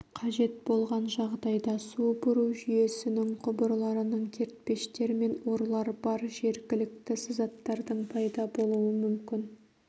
қажет болған жағдайда су бұру жүйесінің құбырларының кертпештер мен орлар бар жергілікті сызаттардың пайда болуы мүмкін